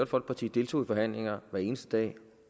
folkeparti deltog i forhandlinger hver eneste dag